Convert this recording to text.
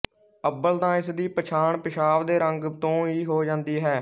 ਅੱਵਲ ਤਾਂ ਇਸ ਦੀ ਪਛਾਣ ਪਿਸ਼ਾਬ ਦੇ ਰੰਗ ਤੋਂ ਈ ਹੋ ਜਾਂਦੀ ਹੈ